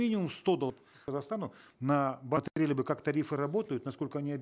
минимум сто казахстану на как тарифы работают насколько они